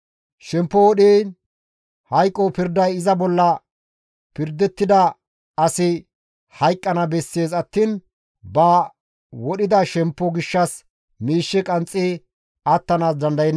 Shemppo wodhiin hayqo pirday iza bolla pirdettida asi hayqqana bessees attiin ba wodhida shemppo gishshas miishshe qanxxi attanaas dandayenna.